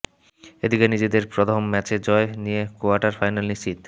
এদিকে নিজেদের প্রধম ম্যাচে জয় নিয়ে কোয়ার্টার ফাইনাল নিশ্চিত